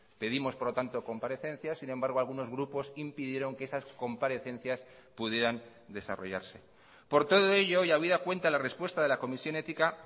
pedimos por lo tanto comparecencia sin embargo algunos grupos impidieron que esas comparecencias pudieran desarrollarse por todo ello y habida cuenta la respuesta de la comisión ética